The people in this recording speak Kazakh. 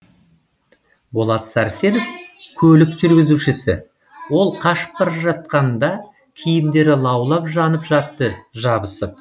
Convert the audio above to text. болат сәрсенов көлік жүргізушісі ол қашып бара жатқанда киімдері лаулап жанып жатты жабысып